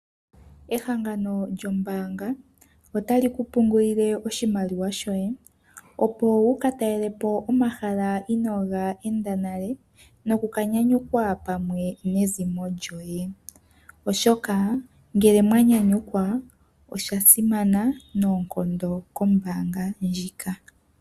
Ehangano lyombaanga ota li ku pungulile oshimaliwa shoye, opo wu ka talele po omahala inoo ga enda nale noku ka nyanyukwa pamwe nezimo lyoye, oshoka ngele mwa nyanyukwa osha simana noonkondo kombaanga ndjika.